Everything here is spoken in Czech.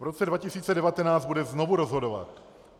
V roce 2019 bude znovu rozhodovat.